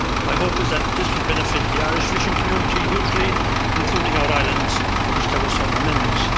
My hope is that this will benefit the Irish fishing community hugely, including our islands, for which there were some amendments.